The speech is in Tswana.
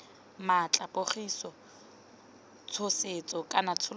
maatla pogiso tshosetso kana tsholofetso